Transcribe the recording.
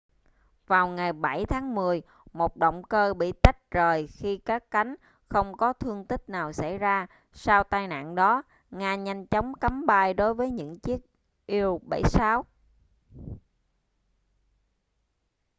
vào ngày 7 tháng 10 một động cơ bị tách rời khi cất cánh không có thương tích nào xảy ra sau tai nạn đó nga nhanh chóng cấm bay đối với những chiếc il-76